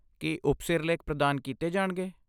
ਕੀ ਉਪਸਿਰਲੇਖ ਪ੍ਰਦਾਨ ਕੀਤੇ ਜਾਣਗੇ?